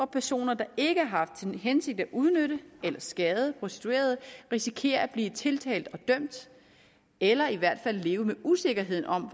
personer der ikke har haft til hensigt at udnytte eller skade prostituerede risikerer at blive tiltalt og dømt eller i hvert fald leve med usikkerheden om